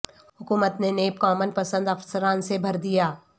حکومت نے نیب کومن پسند افسران سے بھر دیا